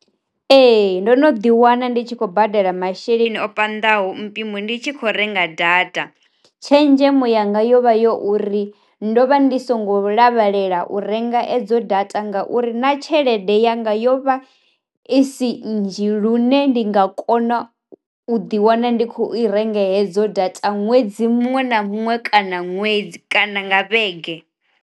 Ee ndo no ḓi wana ndi tshi khou badela masheleni o panḓaho mpimo ndi tshi kho renga data. Tshenzhemo yanga yovha yo uri, ndo vha ndi songo lavhelela u renga edzo data nga u uri na tshelede yanga yovha i si nnzhi lune ndi nga kona u ḓi wana ndi khou i renga hedzo data ṅwedzi muṅwe na muṅwe kana ṅwedzi kana nga vhege.